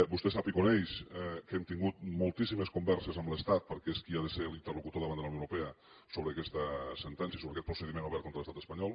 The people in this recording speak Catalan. vostè sap i coneix que hem tingut moltíssimes converses amb l’estat perquè és qui ha de ser l’interlocutor davant de la unió europea sobre aquesta sentència i sobre aquest procediment obert contra l’estat espanyol